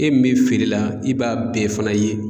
E min feerela i b'a bɛɛ fana ye.